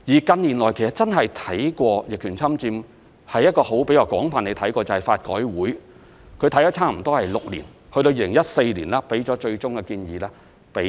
近年真的比較廣泛地審視逆權侵佔的是法改會，他們審視多年後，於2014年向政府提出最終建議。